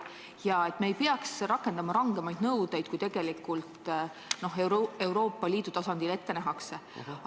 Samuti ei peaks me rakendama rangemaid nõudeid, kui Euroopa Liidu tasandil on tegelikult ette nähtud.